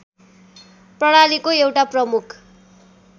प्रणालीको एउटा प्रमुख